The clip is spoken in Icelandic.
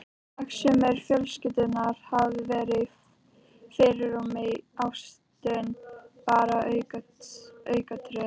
Hagsmunir fjölskyldunnar hafi verið í fyrirrúmi, ástin bara aukaatriði.